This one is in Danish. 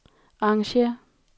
arrangér